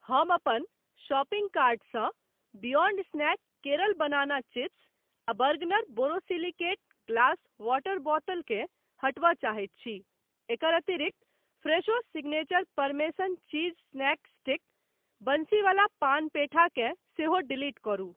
हम अपन शॉपिंग कार्टसँ Beyond snack Kerala banana chips आ बर्गनर बोरोसिलिकेट ग्लास वॉटर बोतल केँ हटबय चाहैत छी । एकर अतिरिक्त Fresho signature parmesan cheese snack sticks, Bansiwala paan petha केँ सेहो डिलीट करू।